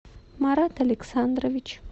марат александрович